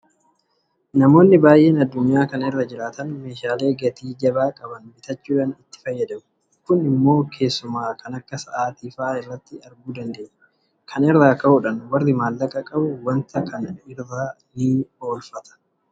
Namoonni baay'een addunyaa kana irra jiraatan meeshaalee gatii jabaa qaban bitachuudhaan itti fayyadamu. Kun immoo keessumaa kan akka sa'aatii fa'aa irratti arguu dandeenya. Kana irraa ka'uudhaan warri maallaqa qabu waanta kana irra oolchata.